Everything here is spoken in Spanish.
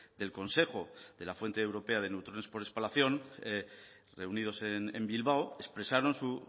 del consejo de la fuente europea de neutrones por espalación reunidos en bilbao expresaron su